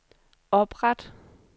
opret